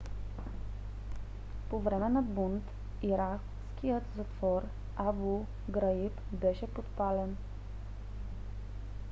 по време на бунт иракският затвор абу граиб беше подпален